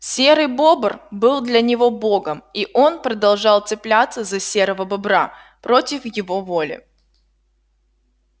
серый бобр был для него богом и он продолжал цепляться за серого бобра против его воли